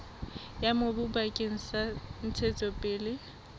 ya mobu bakeng sa ntshetsopele